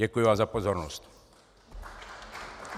Děkuji vám za pozornost.